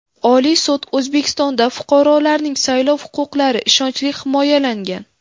Oliy sud: O‘zbekistonda fuqarolarning saylov huquqlari ishonchli himoyalangan.